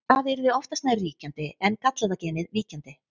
Það yrði oftast nær ríkjandi en gallaða genið víkjandi.